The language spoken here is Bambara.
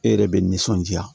E yɛrɛ bɛ nisɔndiya